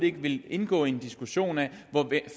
ikke vil indgå i en diskussion af